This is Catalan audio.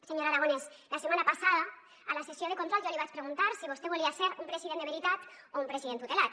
senyor aragonès la setmana passada a la sessió de control jo li vaig preguntar si vostè volia ser un president de veritat o un president tutelat